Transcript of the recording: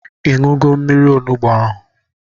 Ịṅụgo mmiri onugbu ahụ?